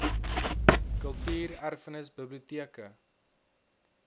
kultuur erfenis biblioteke